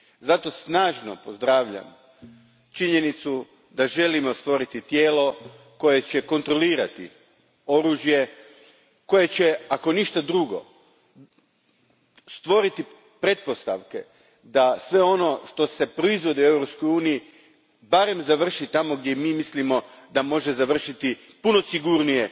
Zato snažno pozdravljam činjenicu da želimo stvoriti tijelo koje će kontrolirati oružje, koje će, ako ništa drugo, stvoriti pretpostavke da sve ono što se proizvodi u Europskoj uniji barem završi tamo gdje mi mislimo da može završiti, puno sigurnije